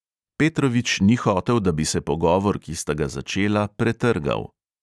Petrovič ni hotel, da bi se pogovor, ki sta ga začela, pretrgal.